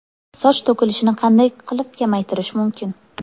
Soch to‘kilishini qanday qilib kamaytirish mumkin?